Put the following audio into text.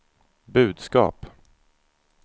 budskap